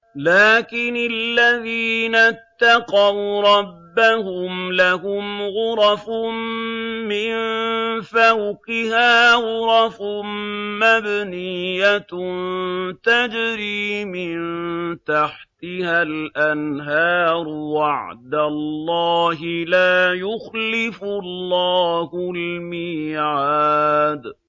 لَٰكِنِ الَّذِينَ اتَّقَوْا رَبَّهُمْ لَهُمْ غُرَفٌ مِّن فَوْقِهَا غُرَفٌ مَّبْنِيَّةٌ تَجْرِي مِن تَحْتِهَا الْأَنْهَارُ ۖ وَعْدَ اللَّهِ ۖ لَا يُخْلِفُ اللَّهُ الْمِيعَادَ